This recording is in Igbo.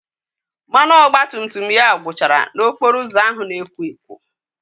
Mmanụ ọgbatumtum ya gwụchara n'okporo ụzọ ahụ na-ekwo ekwo